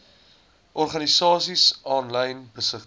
organisasies aanlyn besigtig